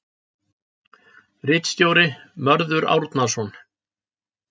Ritstjóri Mörður Árnason.